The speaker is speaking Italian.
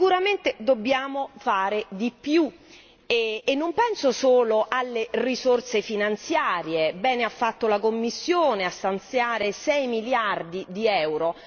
Sicuramente dobbiamo fare di più e non penso solo alle risorse finanziarie bene ha fatto la Commissione a stanziare 6 miliardi di euro.